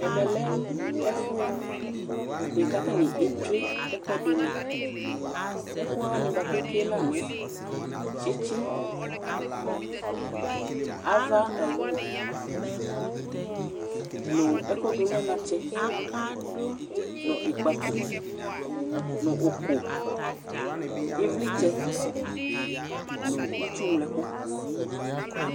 Ɛmɛ lɛ ɛfʋɛdɩ bʋa kʋ atanɩ etsue ɛkʋɛdɩnɩ Ɛkʋ wanɩ bʋa kʋ etsue la nʋ tsɩtsɩ, ava awu nʋ ɛkʋdʋ nʋ anatsɛ nʋ ɩkpako nʋ ʋkʋ, ɩvlɩtsɛ nʋ itsu ŋlo ɛkʋ